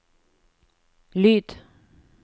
lyd